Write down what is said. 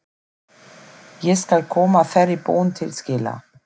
Ég skal koma þeirri bón til skila.